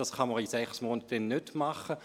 Dies kann man in sechs Monaten nicht machen.